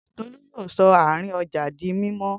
Tolú yóò sọ àárín ọjà di mímọ́